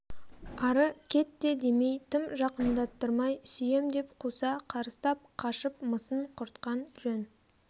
ары кет те демей тым жақындаттырмай сүйем деп қуса қарыстап қашып мысын құртқан жөн